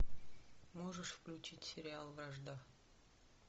можешь включить сериал вражда